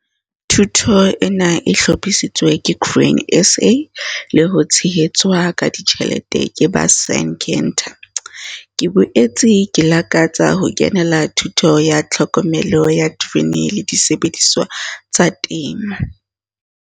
Thuto ena e hlophisitswe ke Grain SA le ho tshehetswa ka ditjhelete ke ba Syngenta. Ke boetse ke lakatsa ho kenela thuto ya Tlhokomelo ya Terekere le Disebediswa tsa Temo.